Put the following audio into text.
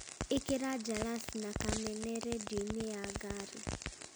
ĩkĩra jalas na kamene rĩndiũ-inĩ ya ngari